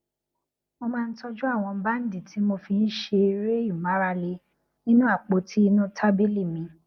mo máa ń tójú àwọn bandi tí mo fi ń ṣe eré ìmárale nínú àpoti inu tabili mi